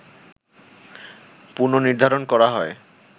পুন-নির্ধারণ করা হয়